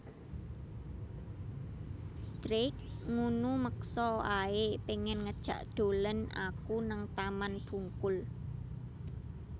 Drake ngunu meksa ae pengen ngejak dolen aku nang Taman Bungkul